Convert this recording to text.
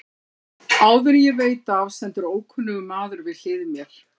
Áður en ég veit af stendur ókunnur maður við hlið mér.